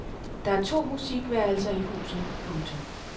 Der er to musikværelser i huset. punktum